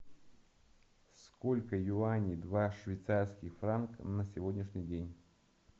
сколько юаней два швейцарских франка на сегодняшний день